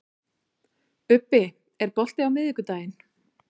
Ubbi, er bolti á miðvikudaginn?